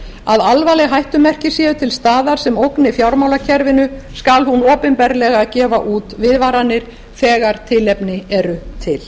að alvarleg hættumerki séu til staðar sem ógna fjármálakerfinu skal hún opinberlega gefa út viðvaranir þegar tilefni er til